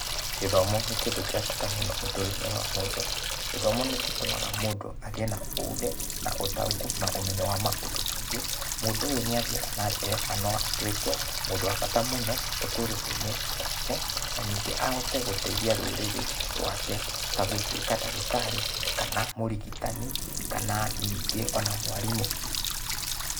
Gĩthomo nĩ kĩndũ gĩa bata mũno ũtũro-inĩ wa mũndũ. Gĩthomo nĩ gĩtũmaga mũndũ agĩe na ũgĩ na ũtaũkũ na ũmenyo wa maũndũ maingĩ, mũndũ ũyũ nĩ athiaga na mbere na no atuĩke mũndũ wa bata mũno ũtũrĩre-inĩ wake, na ningĩ ahote gũteithia rũrĩrĩ rwake ta gũtuĩka ndagĩtarĩ kana mũrĩgĩtani kana ona ningĩ mwarimũ.